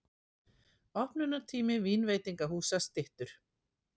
Opnunartími vínveitingahúsa styttur